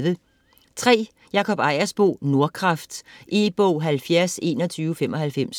Ejersbo, Jakob: Nordkraft E-bog 702195